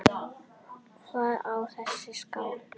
Hver á þessa skál?